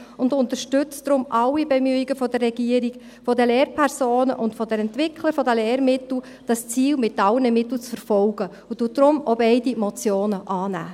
Sie unterstützt deshalb alle Bemühungen der Regierung, der Lehrpersonen und der Entwickler der Lehrmittel, dieses Ziel mit allen Mitteln zu verfolgen und nimmt deshalb beide Motionen an.